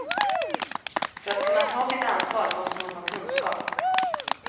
För att kunna ta sitt ansvar måste man ha kunskap.